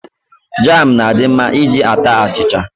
Jam na-adi mma iji ata achicha.